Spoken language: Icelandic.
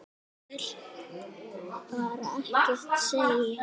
Þú vilt bara ekkert segja.